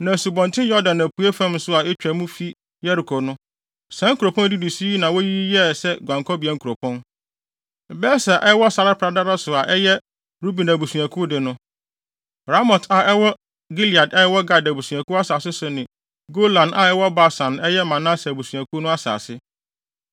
Na Asubɔnten Yordan apuei fam nso a etwa mu fi Yeriko no, saa nkuropɔn a edidi so yi na woyiyii sɛ guankɔbea nkuropɔn: Beser a ɛwɔ sare pradada so a ɛyɛ Ruben abusuakuw de no, Ramot a ɛwɔ Gilead a ɛwɔ Gad abusuakuw asase so ne Golan a ɛwɔ Basan a ɛyɛ Manase abusuakuw no asase.